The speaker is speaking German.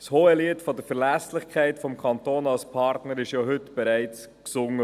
Das Hohelied der Verlässlichkeit des Kantons als Partner wurde heute ja bereits gesungen.